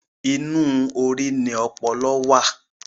Inú orí ni ọpọlọ wà.